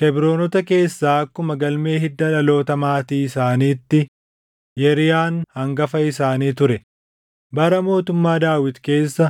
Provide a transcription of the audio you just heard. Kebroonota keessaa akkuma galmee hiddaa dhaloota maatii isaaniitti Yeriyaan hangafa isaanii ture. Bara mootummaa Daawit keessa